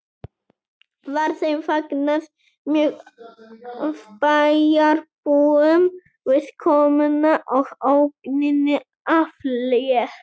Var þeim fagnað mjög af bæjarbúum við komuna og ógninni aflétt